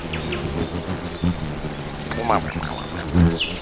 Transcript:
Við byrjuðum vel og héldum að við gætum gert það en við sýndum ekki nóg.